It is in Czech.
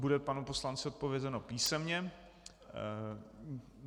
Bude panu poslanci odpovězeno písemně.